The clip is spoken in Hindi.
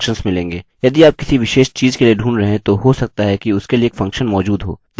यदि आप किसी विशेष चीज़ के लिए ढूंढ रहे हैं तो हो सकता है कि उसके लिए एक फंक्शन मौजूद हो